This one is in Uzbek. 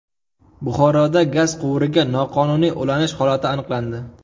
Buxoroda gaz quvuriga noqonuniy ulanish holati aniqlandi.